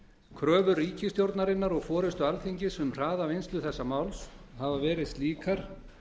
kröfur ríkisstjórnarinnar og forystu alþingis um að hraða vinnslu þessa máls hafa verið slíkar